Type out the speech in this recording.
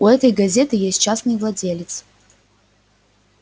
у этой газеты есть частный владелец